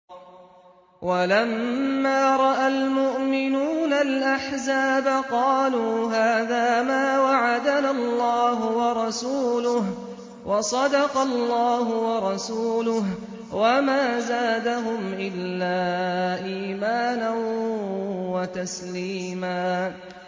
وَلَمَّا رَأَى الْمُؤْمِنُونَ الْأَحْزَابَ قَالُوا هَٰذَا مَا وَعَدَنَا اللَّهُ وَرَسُولُهُ وَصَدَقَ اللَّهُ وَرَسُولُهُ ۚ وَمَا زَادَهُمْ إِلَّا إِيمَانًا وَتَسْلِيمًا